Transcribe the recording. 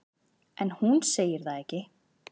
En hún segir það ekki.